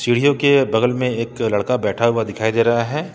सीढ़ियों के बगल में एक लड़का बैठा हुआ दिखाई दे रहा है।